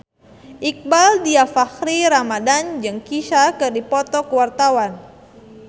Iqbaal Dhiafakhri Ramadhan jeung Kesha keur dipoto ku wartawan